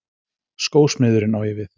Skósmiðurinn, á ég við.